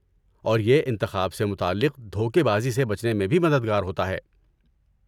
اور یہ انتخاب سے متعلق دھوکہ بازی سے بچنے میں بھی مددگار ہوتا ہے۔